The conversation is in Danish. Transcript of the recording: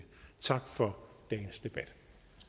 tak for dagens debat